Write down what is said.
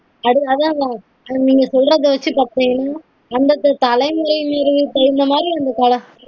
அதாதா நீங்க சொல்றது வச்சு பாத்தீங்கனா அந்தந்த தலைமுறைகளுக்கு தகுந்த மாதிரி